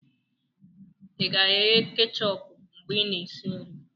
ị ga-eghe kechọpụ mgbe ị na-esi nri?